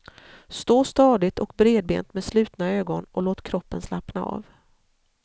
Stå stadigt och bredbent med slutna ögon och låt kroppen slappna av.